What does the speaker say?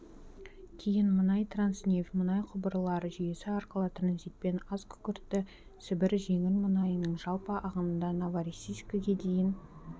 кейін мұнай транснефть мұнай құбырлар жүйесі арқылы транзитпен азкүкіртті сібір жеңіл мұнайының жалпы ағынында новороссийскіге дейін